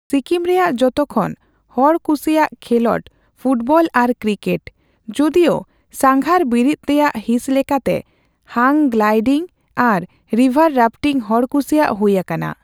ᱥᱤᱠᱤᱢ ᱨᱮᱭᱟᱜ ᱡᱚᱛᱚᱠᱷᱚᱱ ᱦᱚᱲ ᱠᱩᱥᱤᱭᱟᱜ ᱠᱷᱮᱞᱚᱰ ᱯᱷᱩᱴᱵᱚᱞ ᱟᱨ ᱠᱨᱤᱠᱮᱴ, ᱡᱩᱫᱤᱣ ᱥᱟᱸᱜᱷᱟᱨ ᱵᱤᱨᱤᱫ ᱨᱮᱭᱟᱜ ᱦᱤᱸᱥ ᱞᱮᱠᱟᱛᱮ ᱦᱟᱝ ᱜᱞᱟᱭᱰᱤᱝ ᱟᱨ ᱨᱤᱵᱷᱟᱨ ᱨᱟᱯᱷᱴᱤᱝ ᱦᱚᱲᱠᱩᱥᱤᱭᱟᱜ ᱦᱩᱭ ᱟᱠᱟᱱᱟ ᱾